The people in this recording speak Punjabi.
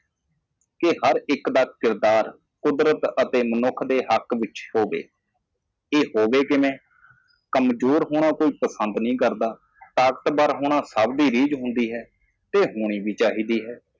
ਕਿ ਹਰੇਕ ਦਾ ਚਰਿੱਤਰ ਕੁਦਰਤ ਜਾਂ ਮਨੁੱਖ ਦੇ ਹੱਕ ਵਿੱਚ ਹੋਣਾ ਚਾਹੀਦਾ ਹੈ ਇਹ ਕਿਵੇਂ ਹੋਵੇਗਾ ਕੋਈ ਵੀ ਕਮਜ਼ੋਰ ਹੋਣਾ ਪਸੰਦ ਨਹੀਂ ਕਰਦਾ ਹਰ ਕੋਈ ਮਜ਼ਬੂਤ ਹੋਣਾ ਪਸੰਦ ਕਰਦਾ ਹੈ ਅਤੇ ਹੋਣਾ ਚਾਹੀਦਾ ਹੈ